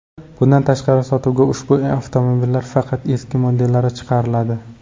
Bundan tashqari, sotuvga ushbu avtomobillarning faqat eski modellari chiqariladi.